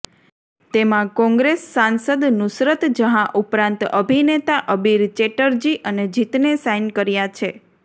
તેમાં કોંગ્રેસ સાંસદ નુસરત જહાં ઉપરાંત અભિનેતા અબીર ચેટર્જી અને જીતને સાઈન કર્યા છે